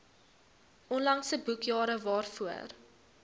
onlangse boekjare waarvoor